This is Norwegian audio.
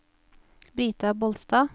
Brita Bolstad